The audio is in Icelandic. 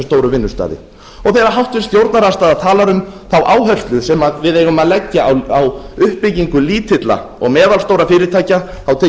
stóru vinnustaði þegar háttvirtur stjórnarandstaða talar um þá áherslu sem við eigum að leggja á uppbyggingu lítilla og meðalstórra fyrirtækja tek ég undir með